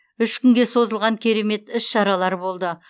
үш күнге созылған керемет іс шаралар болды